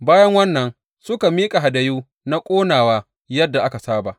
Bayan wannan, suka miƙa hadayu na ƙonawa yadda aka saba.